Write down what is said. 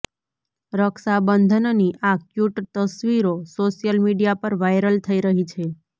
રક્ષાબંધનની આ ક્યૂટ તસવીરો social media પર વાયરલ થઈ રહી છે